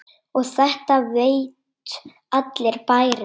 Og þetta veit allur bærinn?